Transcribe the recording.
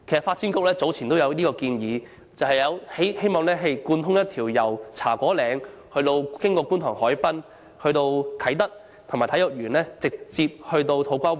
發展局曾提出建議，設立一條單車徑，貫通茶果嶺、觀塘海濱及啟德體育園區，直往土瓜灣。